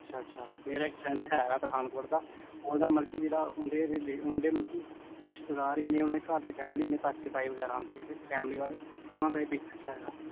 ਅੱਛਾ ਅੱਛਾ ਮੇਰਾ ਇਕ friend ਹੈਗਾ ਪਠਾਨਕੋਟ ਦਾ ਓਹਦਾ ਮਤਲਬ ਰਿਸ਼ਤੇਦਾਰ ਈ ਇਹਨੇ ਘਰ ਦੀ family ਇਹਨੇ ਓਹਨਾ ਦਾ business ਹੈਗਾ